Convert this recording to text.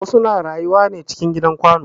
Wasu na rayuwa ne cikin gidan kwano